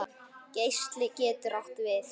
Geisli getur átt við